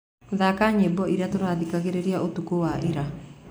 thaaka nyĩmbo iria tũraathikĩrĩria ũtukũ wa ira